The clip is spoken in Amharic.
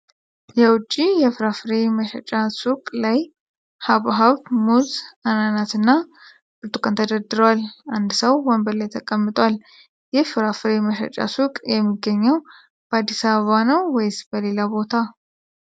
የውጭ የፍራፍሬ መሸጫ ሱቅ ላይ ሐብሐብ፣ ሙዝ፣ አናናስና ብርቱካን ተደርድረዋል፣ አንድ ሰው ወንበር ላይ ተቀምጧል። ይህ ፍራፍሬ መሸጫ ሱቅ የሚገኘው በአዲስ አበባ ነው ወይስ በሌላ ቦታ?